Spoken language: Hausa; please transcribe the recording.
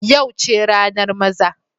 Yau ce ranar maza.